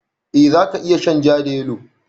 Eh za ka iya shan ja da yalo.